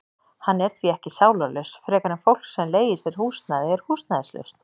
Hann er því ekki sálarlaus frekar en fólk sem leigir sér húsnæði er húsnæðislaust.